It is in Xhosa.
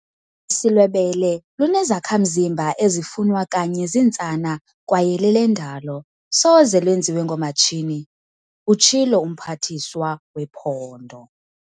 "Ubisi lwebele lunezakha-mzimba ezifunwa kanye zintsana kwaye lelendalo, soze lenziwe ngoomatshini," utshilo uMphathiswa wePhondo.